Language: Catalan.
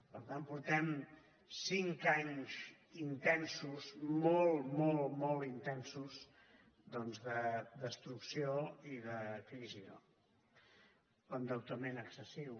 per tant portem cinc anys intensos molt molt molt intensos doncs de destrucció i de crisi no l’endeutament excessiu